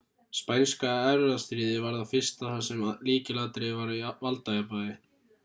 spænska erfðastríðið var það fyrsta þar sem lykilatriðið var valdajafnvægi